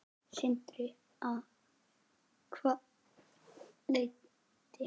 Sindri: Að hvaða leyti?